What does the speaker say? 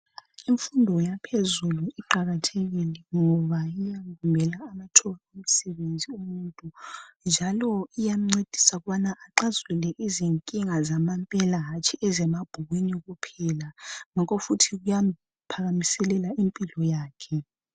Imfundo yaphezulu iqakathekile ngoba iyavulela amathuba imisebenzi umuntu njalo iyancedisa ukubana axazulule izinkinga zamampela hatshi ezemabhukwini kuphela ngakho futhi kuyamphakamisela impilo yakhe.